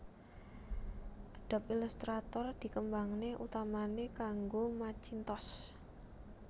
Adobe Illustrator dikembangné utamané kangge Macintosh